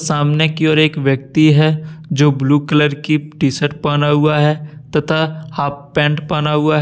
सामने की और एक व्यक्ति है जो ब्लू कलर की टी शर्ट पहना हुआ है तथा हाफ पेंट पहना हुआ है।